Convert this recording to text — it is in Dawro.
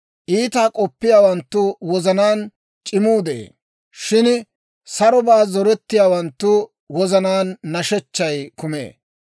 Iitaa k'oppiyaawanttu wozanaan c'imuu de'ee; shin sarobaa zorettiyaawanttu wozanaan nashechchay kumee.